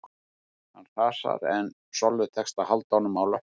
Hann hrasar en Sollu tekst að halda honum á löppunum